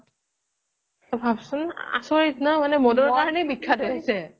তই ভাবচোন মানে আচৰিত ন' মদৰ কাৰণে বিখ্যাত হৈ আছে